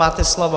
Máte slovo.